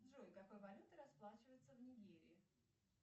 джой какой валютой расплачиваются в нигерии